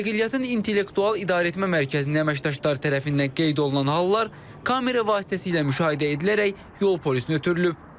Nəqliyyatın intellektual idarəetmə mərkəzinin əməkdaşları tərəfindən qeyd olunan hallar kamera vasitəsilə müşahidə edilərək yol polisinə ötürülüb.